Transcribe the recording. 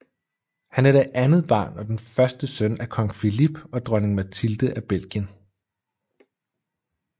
Han er det andet barn og den første søn af Kong Philippe og Dronning Mathilde af Belgien